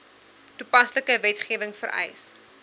toepaslike wetgewing vereis